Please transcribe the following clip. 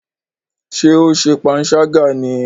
Ṣe o ṣe panṣaga ni?